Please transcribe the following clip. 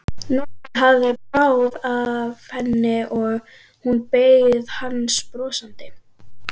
Nokkuð hafði bráð af henni og hún beið hans brosandi.